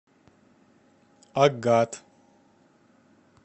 агат